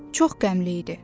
Çox qəmli idi.